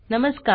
नमस्कार